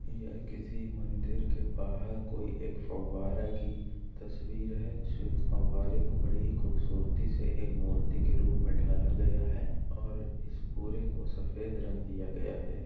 यह किसी मंदिर के बाहर कोई एक फव्वारा की तस्वीर है जिसमें फव्वारे को बड़ी ही खूबसूरती से एक मूर्ति की रूप में ढाला गया है और इस पुरे को सफेद रंग दिया गया है।